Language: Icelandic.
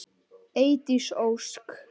Eydís Ósk.